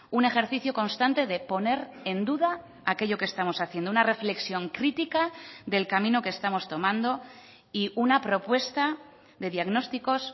un ejercicio constante de poner en duda aquello que estamos haciendo una reflexión crítica del camino que estamos tomando y una propuesta de diagnósticos